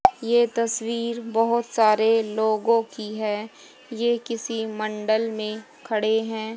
ये तस्वीर बहुत सारे लोगों की है ये किसी मंडल में खड़े हैं।